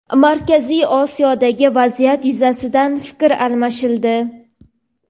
Markaziy Osiyodagi vaziyat yuzasidan fikr almashildi.